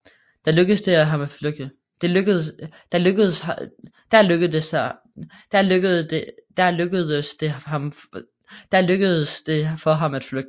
Der lykkedes det for ham at flygte